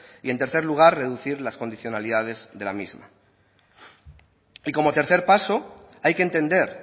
y en tercer lugar reducir las condicionalidades de la misma y como tercer paso hay que entender